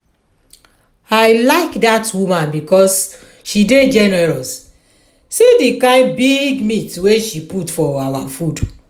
i like dat woman because she dey generous. see the kyn big meat wey she put for our food